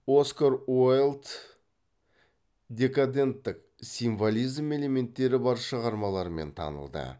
оскар уайльд декаденттік символизм элементтері бар шығармаларымен танылды